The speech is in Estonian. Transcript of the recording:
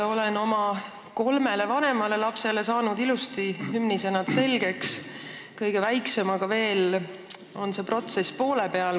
Olen oma kolmele vanemale lapsele ilusti hümni sõnad selgeks õpetanud, kõige väiksemaga on see protsess veel poole peal.